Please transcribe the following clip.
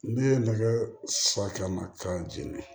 Ne ye nɛgɛ siɲɛma k'a jeni